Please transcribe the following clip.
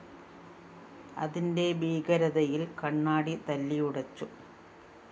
അതിന്റെ ഭീകരതയില്‍ കണ്ണാടി തല്ലിയുടച്ചു